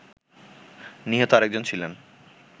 নিহত আরেকজন ছিলেন